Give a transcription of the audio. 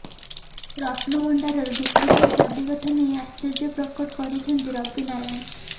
ରତ୍ନଭଣ୍ଡାରର ଡୁପ୍ଲିକେଟ୍ ଚାବି କଥା ନେଇ ଆଶ୍ଚର୍ଯ୍ୟପ୍ରକଟ କରିଛନ୍ତି ରବିନାରାୟଣ